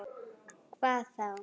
Hvað þá?